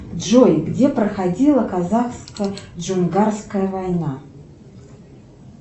джой где проходила казахско джунгарская война